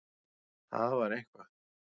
Það var eitthvað.